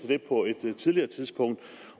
det på et senere tidspunkt